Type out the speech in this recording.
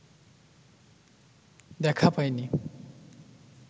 দেখা পায় নি